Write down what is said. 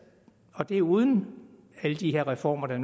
og det er uden alle de reformer der